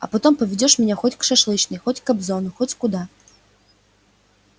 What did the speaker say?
а потом поведёшь меня хоть к шашлычной хоть к кобзону хоть куда